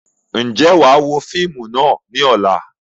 Ǹjẹ́ wàá wo fíìmù náà ni ọ̀la?